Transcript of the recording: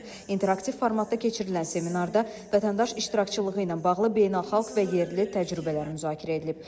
İnteraktiv formatda keçirilən seminarda vətəndaş iştirakçılığı ilə bağlı beynəlxalq və yerli təcrübələr müzakirə edilib.